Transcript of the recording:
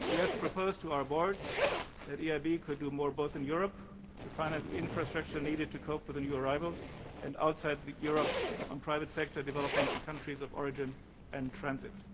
We have proposed to our board that the EIB could do more both in Europe, to finance the infrastructure needed to cope with the new arrivals, and outside Europe, on private sector development in countries of origin and transit.